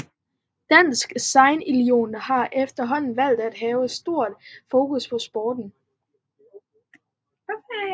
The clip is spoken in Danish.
Dansk Sejlunion har herefter valgt at have stor fokus på sporten